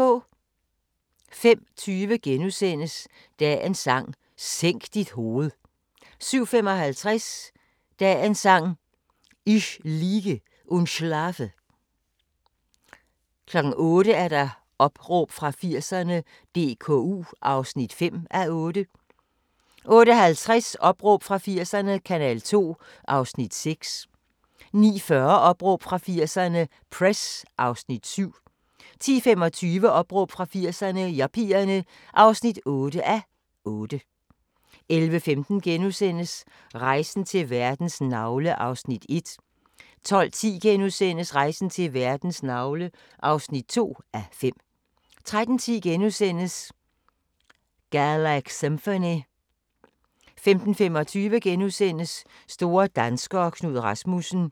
05:20: Dagens Sang: Sænk dit hoved * 07:55: Dagens Sang: Ich liege und schlafe 08:00: Opråb fra 80'erne – DKU (5:8) 08:50: Opråb fra 80'erne – Kanal 2 (6:8) 09:40: Opråb fra 80'erne – Press (7:8) 10:25: Opråb fra 80'erne – Yuppierne (8:8) 11:15: Rejsen til verdens navle (1:5)* 12:10: Rejsen til verdens navle (2:5)* 13:10: Galaxymphony * 15:25: Store danskere - Knud Rasmussen *